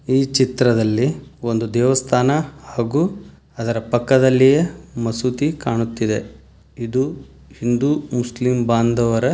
ಈ ಚಿತ್ರದಲ್ಲಿ ಒಂದು ದೇವಸ್ಥಾನ ಹಾಗೂ ಅದರ ಪಕ್ಕದಲ್ಲಿಯೇ ಮಸೀದಿ ಕಾಣುತ್ತಿದೆ ಇದು ಹಿಂದೂ ಮುಸ್ಲಿಂ ಬಾಂಧವರ.